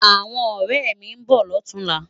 Áwòn òrè mi n bò lòtúnlá